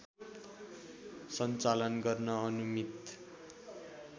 सञ्चालन गर्न अनुमित